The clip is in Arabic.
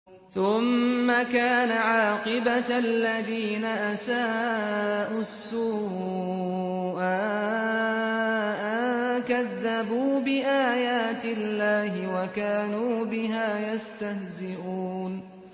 ثُمَّ كَانَ عَاقِبَةَ الَّذِينَ أَسَاءُوا السُّوأَىٰ أَن كَذَّبُوا بِآيَاتِ اللَّهِ وَكَانُوا بِهَا يَسْتَهْزِئُونَ